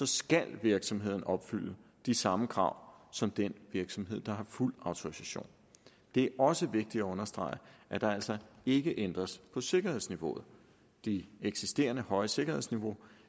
skal virksomheden opfylde de samme krav som den virksomhed der har en fuld autorisation det er også vigtigt at understrege at der altså ikke ændres på sikkerhedsniveauet det eksisterende høje sikkerhedsniveau